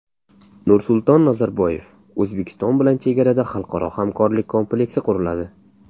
Nursulton Nazarboyev: O‘zbekiston bilan chegarada xalqaro hamkorlik kompleksi quriladi.